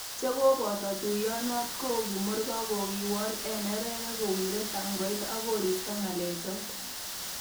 Chekoboto tuiyonot kou kimurgor kokiwol eng neregek kowire tangoit ak koisto ngalechot